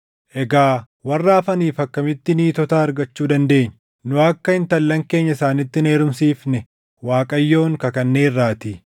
Egaa warra hafaniif akkamitti niitota argachuu dandeenya? Nu akka intallan keenya isaanitti hin heerumsiifne Waaqayyoon kakanneerraatii.”